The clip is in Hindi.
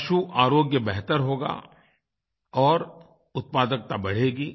पशुआरोग्य बेहतर होगा और उत्पादकता बढ़ेगी